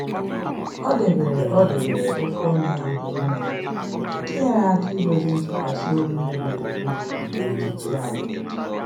O debere O debere okwu ọnụ ya mgbe n'ile nke nyere aka idozi ntụkwasị obi mebiri emebi n'etiti anyị